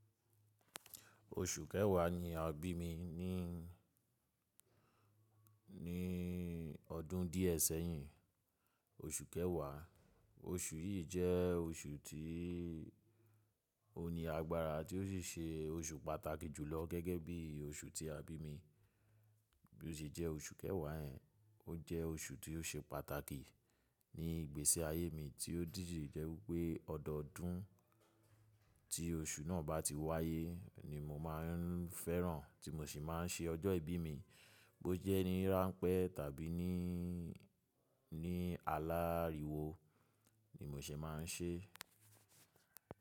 Oṣù Kẹwà ni a bí mi ní, ni ọdún díẹ̀ sẹ́yìn, oṣù Kẹwà. Oṣù yìí jẹ́ oṣù tí ó ni agbára tí ó sì ṣe oṣù pàtàkì jùlọ gẹ́gẹ́ bí oṣù tí a bí mi. Bí ó ṣe jẹ́ oṣù Kẹwà ẹ̀, ó jẹ́ oṣù tí ó ṣe pàtàkì ní ìgbésẹ̀ ayé mi tí dídíì jẹ́ pé ọdọọdún tí oṣù náà bá ti wáyé ni mo máa ń fẹ́ràn tí mo sì máa ń ṣe ọjọ́ ìbí mi, bó jẹ́ ní ráńpẹ́ tàbí ní, ní alá ríwo ni mo ṣe máa ń ṣe.